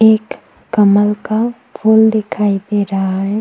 एक कमल का फूल दिखाई दे रहा है।